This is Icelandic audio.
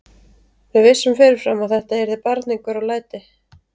Við vissum fyrirfram að þetta yrði barningur og læti.